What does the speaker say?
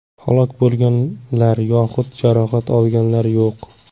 Halok bo‘lganlar yoxud jarohat olganlar yo‘q.